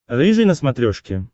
рыжий на смотрешке